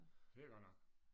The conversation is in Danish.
Det er godt nok